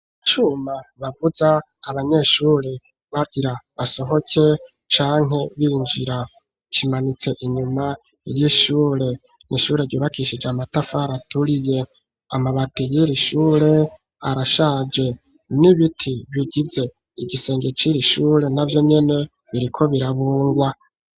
Icuma bavuza abanyeshuri bagira basohoke, canke binjira, kimanitse inyuma y'ishure, n'ishure ryubakishije amatafari aturiye, amabati y'iri shure arashaje ,n'ibiti bigize igisenge c'iri shure na vyo nyene, biriko birabungwa.